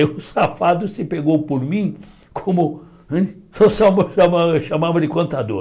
Aí o safado se pegou por mim como né... chamava de contador.